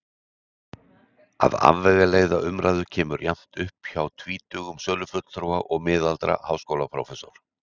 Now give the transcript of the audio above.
Að afvegaleiða umræðu kemur jafnt upp hjá tvítugum sölufulltrúa og miðaldra háskólaprófessor.